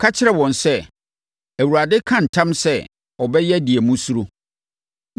Ka kyerɛ wɔn sɛ, ‘ Awurade ka ntam sɛ ɔbɛyɛ deɛ mosuro.